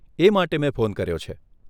એ માટે મેં ફોન કર્યો છે.